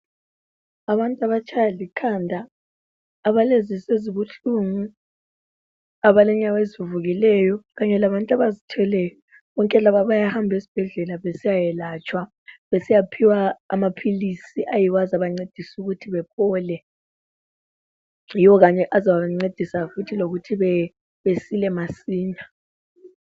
Abantu abatshaywa likhanda, abalezisu ezibuhlungu, abalenyawo ezivuvukileyo kanye labantu abazithweleyo, bonke laba bayahamba esibhedlela besiyayelatshwa, besiyaphiwa amaphilisi ayiwo azabancedisa ukuthi baphole. Yiwo kanye azabancedisa futhi lokuthi besile masinya.